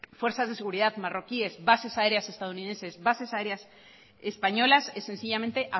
fuerzas de seguridad marroquíes bases aéreas estadunidenses bases aéreas españolas es sencillamente